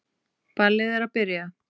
Ballið að byrja.